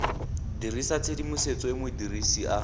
dirisa tshedimosetso e modirisi a